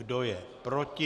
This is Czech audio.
Kdo je proti?